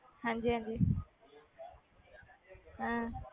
ਹਾਂਜੀ ਹਾਂਜੀ ਹਾਂ,